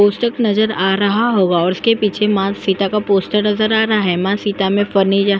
poster नज़र आ रहा होगा और इसके पीछे माँ सीता का पोस्टर नज़र आ रहा है माँ सीता में --